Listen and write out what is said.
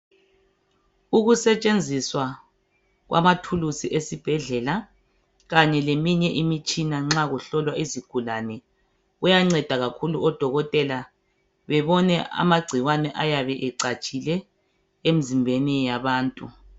Ukusetshenziswa kwamathulisi kanye leminye imitshina nxa kuselatshwa isigulani kuyangceda kakhulu odokotela bebone amagcikwane ayabe ecatshile emzimbeni yabantu